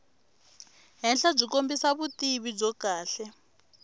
henhlabyi kombisa vutivi byo kahle